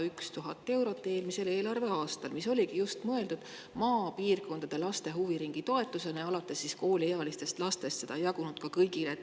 Eelmisel eelarveaastal oli 101 000 eurot mõeldud just maapiirkondade laste huviringitoetusena alates kooliealistest lastest, seda ei jagunud kõigile.